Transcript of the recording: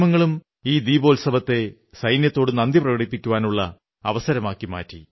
മാധ്യമങ്ങളും ഈ ദീപോത്സവത്തെ സൈന്യത്തോടു നന്ദി പ്രകടിപ്പിക്കാനുള്ള അവസരമാക്കി മാറ്റി